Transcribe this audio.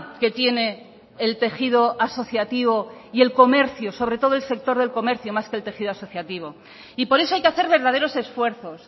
que tiene el tejido asociativo y el comercio sobre todo el sector del comercio más que el tejido asociativo y por eso hay que hacer verdaderos esfuerzos